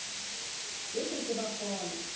bo ke ke ba fola